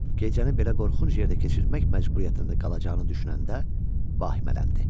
Gecəni belə qorxunc yerdə keçirtmək məcburiyyətində qalacağını düşünəndə vahimələndi.